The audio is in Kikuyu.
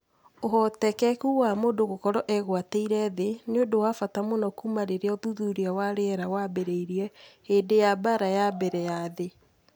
Ũhotekeku wa mũndũ gũkorũo egwatĩire thĩ nĩ ũndũ wa bata mũno kuuma rĩrĩa uthuthuria wa rĩera waambĩrĩirie hĩndĩ ya Mbaara ya Mbere ya Thĩ.